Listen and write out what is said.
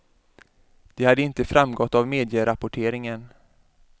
Det hade inte framgått av medierapporteringen.